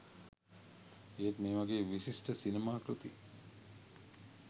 ඒත් මේ වගේ විශිෂ්ඨ සිනමා කෘති